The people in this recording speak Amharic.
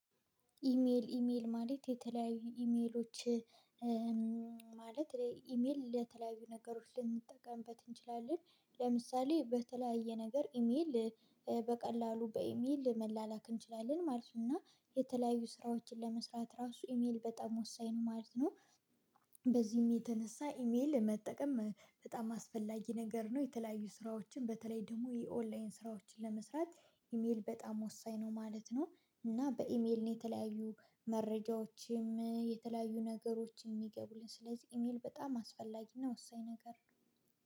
ኢሜል ኢሜል ማለት የተለያዩ ኢሜሎች። ማለት ላይ ኢሜል ለተለያዩ ነገሮች ልንጠቀምበት እንችላለን ለምሳሌ በተለያየ ነገር ኢሜል በቀላሉ በኢሜል መላላክ እንችላለን ማለት ነው እና የተለያዩ ስራዎችን ለመስራት ራሱ ኢሜል በጣም ወሳኝ ነው ማለት ነው። በዚህም የተነሳ ኢሜል መጠቀም በጣም አስፈላጊ ነገር ነው የተለያዩ ስራዎችን በተለይ ደግሞ የኦንላይን ስራዎችን ለመስራት ኢሜል በጣም ወሳኝ ነው ማለት ነው። እና በኢሜል ነው የተለያዩ መረጃዎች። የተለያዩ ነገሮች የሚገቡልን ስለዚህ ኢሜል በጣም አስፈላጊና ወሳኝ ነገር